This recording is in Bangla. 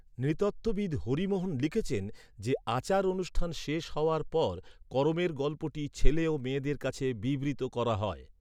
নৃতত্ত্ববিদ হরি মোহন লিখছেন যে, আচার অনুষ্ঠান শেষ হওয়ার পর করমের গল্পটি ছেলে ও মেয়েদের কাছে বিবৃত করা হয়।